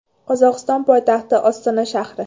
Qozog‘iston poytaxti Ostona shahri.